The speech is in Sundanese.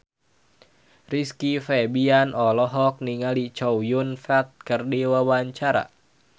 Rizky Febian olohok ningali Chow Yun Fat keur diwawancara